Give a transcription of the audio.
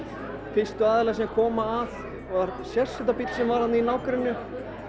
fyrstu aðilar sem koma að var sérsveitarbíll sem var þarna í nágrenninu